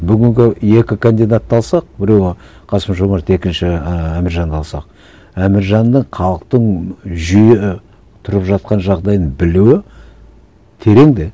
бүгінгі екі кандидатты алсақ біреуі қасым жомарт екінші ііі әміржанды алсақ әміржанның халықтың жүйе тұрып жатқан жағдайын білуі терең де